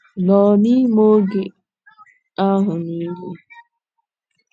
nọ n’ime oge ahụ niile?